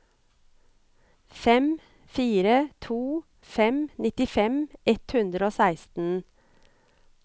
fem fire to fem nittifem ett hundre og seksten